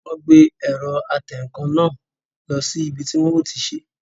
Wọ́n gbé ẹ̀rọ atẹǹkan náà lọ sí ibi tí wọn yóò ti sé